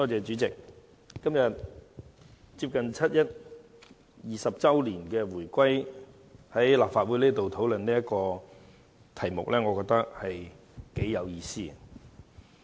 主席，接近七一20周年回歸之際，我們今天在立法會討論這項議案，我認為頗有意思。